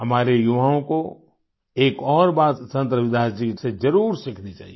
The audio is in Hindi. हमारे युवाओं को एक और बात संत रविदास जी से जरुर सीखनी चाहिए